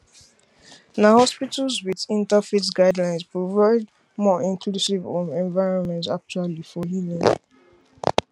na hospitals with interfaith guidelines provide more inclusive um environments actually for healing